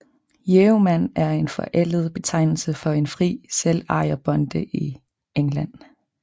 Yeoman er en forældet betegnelse for en fri selvejerbonde i England